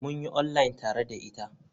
Mun yi online tare da ita.